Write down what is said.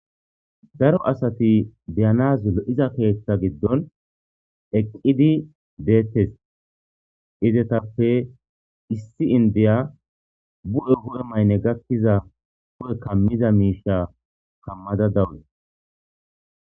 daro asati diyanazul iza keeththa giddon eqqidi deetes izetappe issi indiya bu7e wu7e maynne gakkiza po7e kammiza miisha kammada dawune